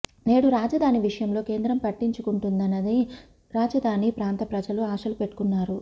నేడు రాజధాని విషయంలో కేంద్రం పట్టించుకుంటుందని రాజధాని ప్రాంత ప్రజలు ఆశలు పెట్టుకు న్నారు